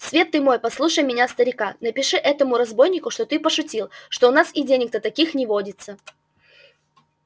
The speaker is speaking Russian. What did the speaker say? свет ты мой послушай меня старика напиши этому разбойнику что ты пошутил что у нас и денег-то таких не водится